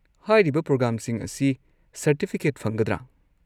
ꯍꯥꯏꯔꯤꯕ ꯄ꯭ꯔꯣꯒ꯭ꯔꯥꯝꯁꯤꯡ ꯑꯁꯤ ꯁꯔꯇꯤꯐꯤꯀꯦꯠ ꯐꯪꯒꯗ꯭ꯔꯥ?